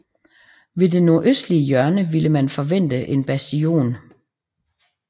Ved det nordøstlige hjørne ville man forvente en bastion